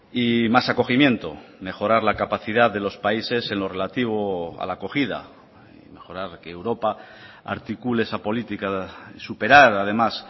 y mas acogimiento mejorar la capacidad de los países en lo relativo a la acogida mejorar que europa articule esa política superar además